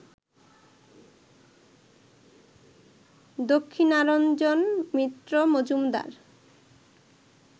Dakshinaranjan Mitra Majumdar